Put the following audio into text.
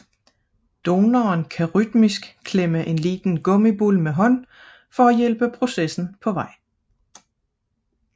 Donoren kan rytmisk klemme en lille gummibold med hånden for at hjælpe processen på vej